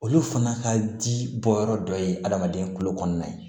Olu fana ka di bɔyɔrɔ dɔ ye adamaden kolo kɔnɔna ye